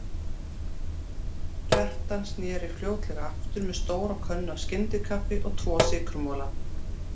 Kjartan sneri fljótlega aftur með stóra könnu af skyndikaffi og tvo sykurmola.